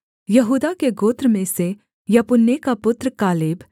यहूदा के गोत्र में से यपुन्ने का पुत्र कालेब